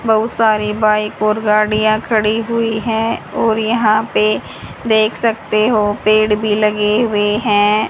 बहुत सारी बाइक और गाड़ियां खड़ी हुई हैं और यहां पे देख सकते हो पेड़ भी लगे हुए हैं।